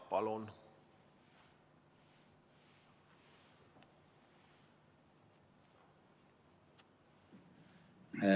Palun!